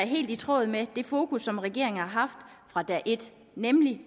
helt i tråd med det fokus som regeringen har haft fra dag et nemlig